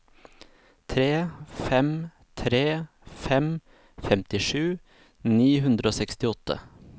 tre fem tre fem femtisju ni hundre og sekstiåtte